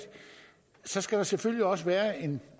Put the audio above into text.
så skal der selvfølgelig også være en